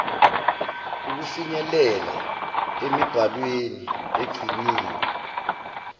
ukufinyelela emibhalweni egciniwe